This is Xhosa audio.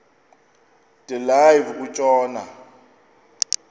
de live kutshona